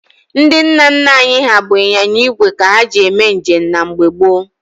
Ndị nna nna anyị ha bụ ịnyịnya igwe ka ha ji eme njem na mgbe gboo.